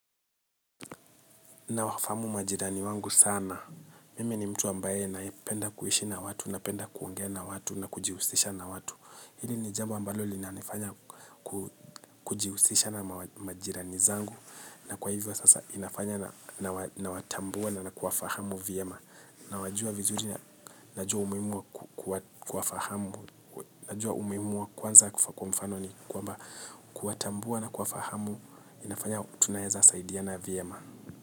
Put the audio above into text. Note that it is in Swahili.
Nawafahamu majirani wangu sana. Mimi ni mtu ambaye naipenda kuhishi na watu, napenda kuongea na watu, na kujihusisha na watu. Hili ni jambo ambalo linanifanya kujihusisha na majirani zangu. Na kwa hivyo sasa ninafanya nawatambua na kuwafahamu vyema. Nawajua vizuri na najua umuhimu wa kuwafahamu. Najua umuhimu wa kwanza kwa mfano ni kwamba kuwatambua na kuwafahamu inafanya tunaeza saidiana vyema.